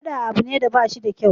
Faɗa abu ne da bashi da kyau